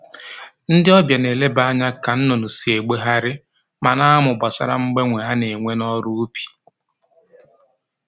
Ndị ọbịa na-eleba anya ka nnụnụ si egbegharị ma na-amụ gbasara mgbanwe a na-enwe n'ọrụ ubi